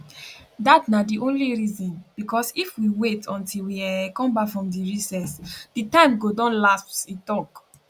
dat na di only reason bicos if we wait until we um come bak from recess di time go don lapse e tok